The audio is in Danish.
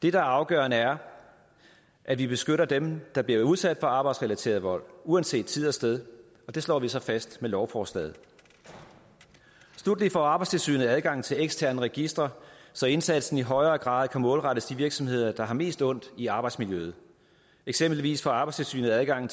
er afgørende er at vi beskytter dem der bliver udsat for arbejdsrelateret vold uanset tid og sted og det slår vi så fast med lovforslaget sluttelig får arbejdstilsynet adgang til eksterne registre så indsatsen i højere grad kan målrettes de virksomheder der har mest ondt i arbejdsmiljøet eksempelvis får arbejdstilsynet adgang